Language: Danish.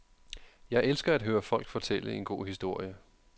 Jeg elsker at høre folk fortælle en god historie.